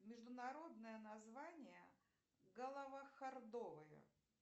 международное название головохордовая